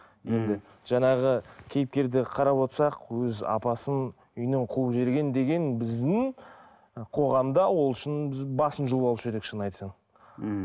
енді жаңағы кейіпкер де қарап отырсақ өз апасын үйінен қуып жіберген деген біздің қоғамда ол үшін біз басын жұлып алушы едік шынын айтса мхм